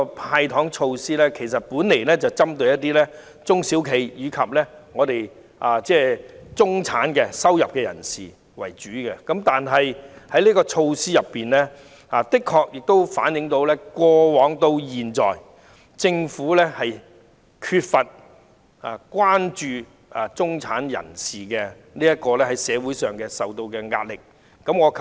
"派糖"措施原本是針對中小企及中收入人士為主，但這項稅務優惠措施卻的確反映政府由始至終對中產人士在社會上承受的壓力缺乏關注。